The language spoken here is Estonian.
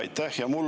Aitäh!